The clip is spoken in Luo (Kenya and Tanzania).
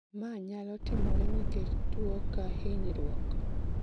ma nyalo timore nikech tuwo ka hinyruok